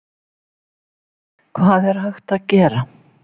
Hvað er hægt að gera?